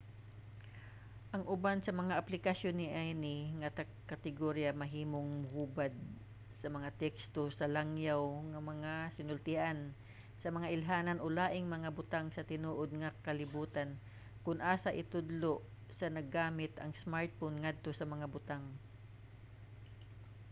ang uban sa mga aplikasyon niini nga kategorya mahimong mohubad sa mga teksto sa langyaw nga mga sinultian sa mga ilhanan o laing mga butang sa tinuod nga kalibutan kon asa itudlo sa naggamit ang smartphone ngadto sa mga butang